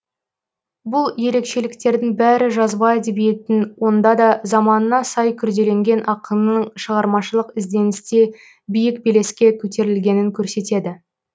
бұл ерекшеліктердің бәрі жазба әдебиеттің онда да заманына сай күрделенген ақынның шығармашылық ізденісте биік белеске көтерілгенін көрсетеді